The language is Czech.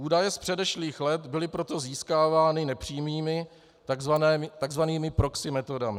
Údaje z předešlých let byly proto získávány nepřímými, tzv. proxy metodami.